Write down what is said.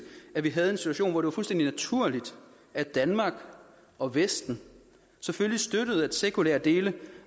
at vi havde en situation hvor det var fuldstændig naturligt at danmark og vesten selvfølgelig støttede at sekulære dele